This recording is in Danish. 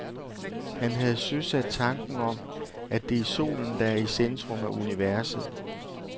Han havde søsat tanken om, at det er solen, der er i centrum af universet.